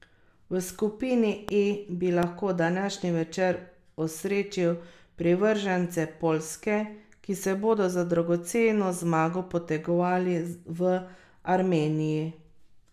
V skupini E bi lahko današnji večer osrečil privržence Poljske, ki se bodo za dragoceno zmago potegovali v Armeniji.